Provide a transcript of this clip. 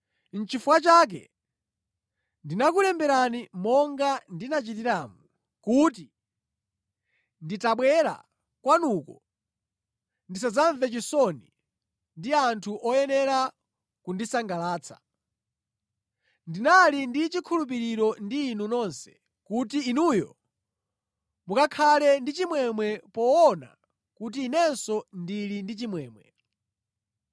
Nʼchifukwa chake ndinakulemberani monga ndinachitiramo kuti nditabwera kwanuko ndisadzamve chisoni ndi anthu oyenera kundisangalatsa. Ndinali ndi chikhulupiriro ndi inu nonse kuti inuyo mukakhala ndi chimwemwe poona kuti inenso ndili ndi chimwemwe.